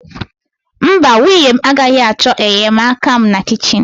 Mba, nwunye m agaghị achọ enyemaka m na kichin.